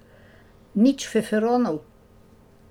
Nič feferonov?